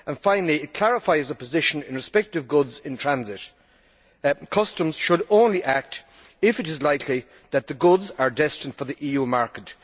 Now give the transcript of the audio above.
Finally, it clarifies the position in respect of goods in transit customs should only act if it is likely that the goods are destined for the EU market.